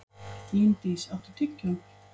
Líndís, áttu tyggjó?